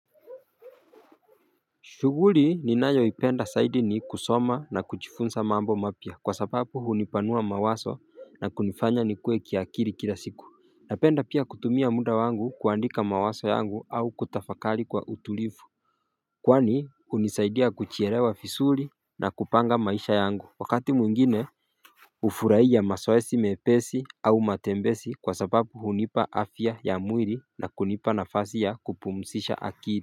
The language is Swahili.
Shughuli ninayoipenda zaidi ni kusoma na kujfunza mambo mapya kwa sababu hunipanua mawazo na kunifanya nikue kiakili kila siku. Napenda pia kutumia muda wangu kuandika mawazo yangu au kutafakali kwa utulivu Kwani hunisaidia kujilewa vizuri na kupanga maisha yangu Wakati mwingine hufurahia mazoezi mepesi au matembezi kwa sababu hunipa afya ya mwili na kunipa nafasi ya kupumzisha akili.